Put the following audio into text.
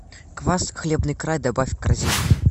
квас хлебный край добавь в корзину